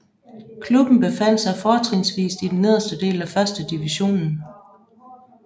Klubben befandt sig fortrinsvist i den nederste del af 1 divisionen